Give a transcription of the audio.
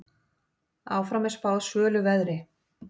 Áfram er spáð svölu veðri.